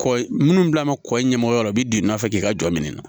Kɔ minnu bila kɔ i ɲɛmɔgɔ la u bɛ don i nɔfɛ k'i ka jɔ minɛ na